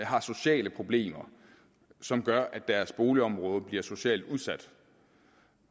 har sociale problemer som gør at deres boligområde bliver socialt udsat